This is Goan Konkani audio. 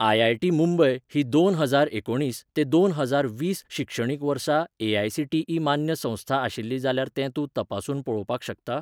आय.आय.टी .मुंबय ही दोन हजार एकुणीस ते दोन हजार वीस शिक्षणीक वर्सा ए.आय.सी.टी.ई मान्य संस्था आशिल्ली जाल्यार तें तूं तपासून पळोवपाक शकता?